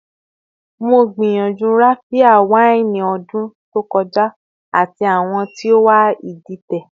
Mo gbiyanju Raphia waini odun to koja, ati awọn ti o wà iditẹ